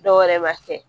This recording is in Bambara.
Dɔwɛrɛ b'a kɛ